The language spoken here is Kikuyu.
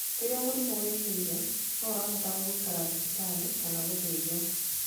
Rĩrĩa mũrimũ wĩhĩte no ũbatare gũikara thibitarĩ kana gũthĩnjwo.